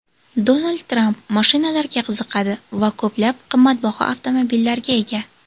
Donald Tramp mashinalarga qiziqadi va ko‘plab qimmatbaho avtomobillarga ega.